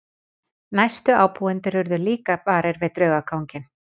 Næstu ábúendur urðu líka varir við draugaganginn.